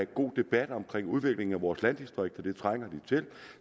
god debat om udviklingen af vores landdistrikter det trænger vi til